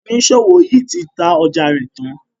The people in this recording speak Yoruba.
oniṣòwo yí tí tá ọjà rẹ tàn.